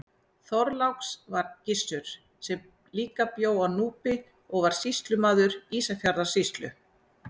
Þorláks var Gissur sem líka bjó á Núpi og var sýslumaður Ísafjarðarsýslu.